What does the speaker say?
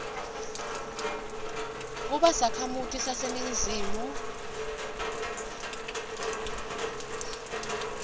kuba sakhamuti saseningizimu